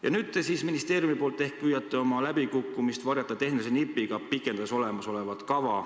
Ja nüüd te ministeeriumis ehk püüate oma läbikukkumist varjata tehnilise nipiga, pikendades olemasolevat kava.